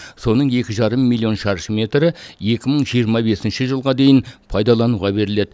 соның екі жарым миллион шаршы метрі екі мың жиырма бесінші жылға дейін пайдалануға беріледі